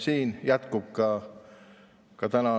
See jätkub ka täna.